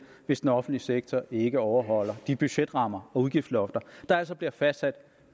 hvis den offentlige sektor ikke overholder de budgetrammer og udgiftslofter der altså bliver fastsat